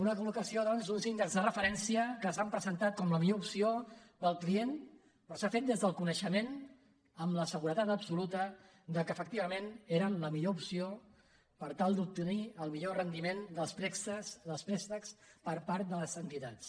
una col·locació doncs uns índexs de referència que s’han presentat com la millor opció per al client però s’ha fet des del conei·xement amb la seguretat absoluta que efectivament eren la millor opció per tal d’obtenir el millor rendi·ment dels préstecs per part de les entitats